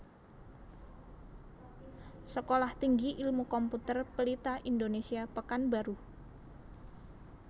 Sekolah Tinggi Ilmu Komputer Pelita Indonesia Pekanbaru